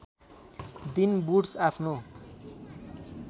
दिन वुड्स आफ्नो